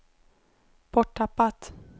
borttappat